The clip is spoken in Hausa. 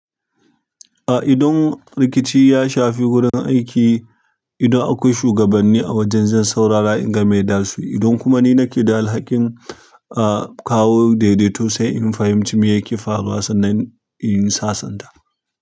Ah, idan rikici ya shafi wurin aiki, idan akwai shugabanni a wajen zan saurara inga mai zasuyi idan kuma ni nake da alhakin, ah kawu daidaiton sai in fahimci me yake faruwa sannan in yi sasanta.